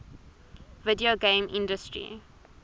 video game industry